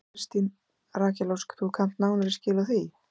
Þóra Kristín: Rakel Ósk þú kannt nánari skil á því?